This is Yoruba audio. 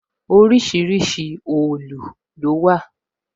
Orísìírísìí òòlù lówà